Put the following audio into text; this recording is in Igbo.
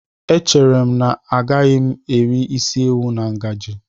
Echere m na agaghị m eri isi ewu na ngaji.